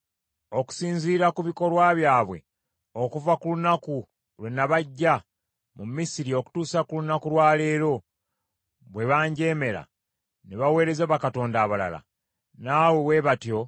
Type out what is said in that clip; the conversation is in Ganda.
Kaakano bawulirize, naye obalabulire ddala, era obategeeze ebintu byonna kabaka anaabafuga by’alibakola.”